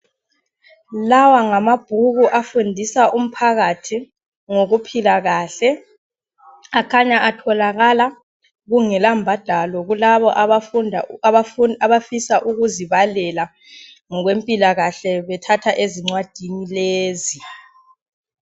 Lawa ngamabhuku afundisa umphakathi ngokuphila kahle. Akhanya atholakala kungelambadalo kulaba abafisa ukuzibalela ngokwempilakahle bethatha ezingwadini lezi.